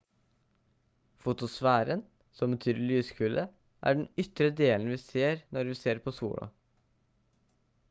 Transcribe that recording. fotosfæren som betyr «lyskule» er den ytre delen vi ser når vi ser på sola